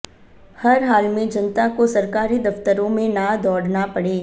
हर हाल में जनता को सरकारी दफ्तरों में ना दौड़ना पड़े